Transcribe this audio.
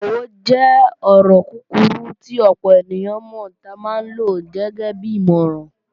Òwe jẹ́ ọ̀rọ̀ kúkurú tí ọ̀pọ̀ ènìyàn mọ̀ tí a máa ń lo gẹ́gẹ́bí ìmọ̀ràn